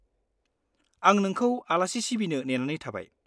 आं नोंखौ आलासि सिबिनो नेनानै थाबाय।